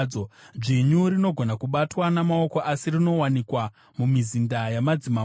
dzvinyu rinogona kubatwa namaoko, asi rinowanikwa mumizinda yamadzimambo.